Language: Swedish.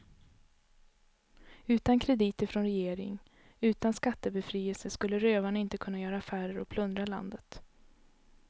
Utan krediter från regering, utan skattebefrielse skulle rövarna inte kunna göra affärer och plundra landet.